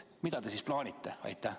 Mida te siis plaanite?